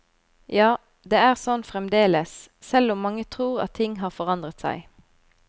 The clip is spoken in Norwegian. Ja, det er sånn fremdeles, selv om mange tror at ting har forandret seg.